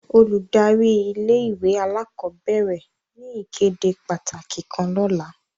Óludari ìlé-ìwé àlàkọbẹrẹ ni ìkéde pataki kan lọla.